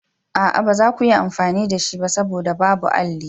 A'a, ba za ku iya amfani da shi ba saboda babu alli.